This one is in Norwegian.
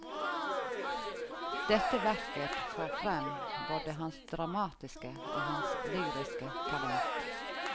Dette verket får frem både hans dramatiske og hans lyriske talent.